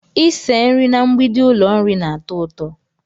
Ịse nri na mgbidi ụlọ nri na-atọ ụtọ